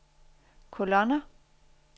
kolonner